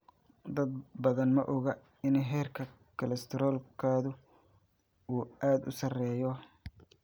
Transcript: Dad badan ma oga in heerka kolestaroolkoodu uu aad u sarreeyo.